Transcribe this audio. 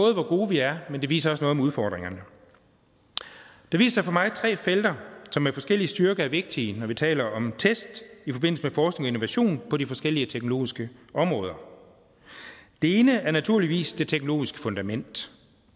gode vi er men det viser også noget om udfordringerne det viser for mig tre felter som med forskellig styrke er vigtige når vi taler om test i forbindelse med forskning og innovation på de forskellige teknologiske områder det ene er naturligvis det teknologiske fundament